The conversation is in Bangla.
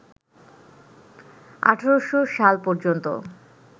১৮০০ সাল পর্যন্ত